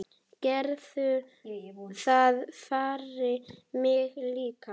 Gerðu það fyrir mig líka.